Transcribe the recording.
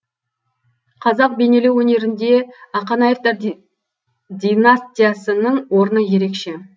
қазақ бейнелеу өнерінде ақанаевтар династиясының орны ерекше